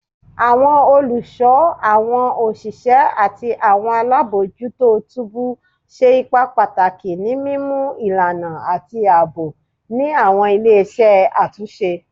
Awọn oluso, awọn oṣiṣẹ ati awọn alabojuto tubu ṣe ipa pataki ni mimu ilana ati aabo ni awọn ile-iṣẹ atunṣe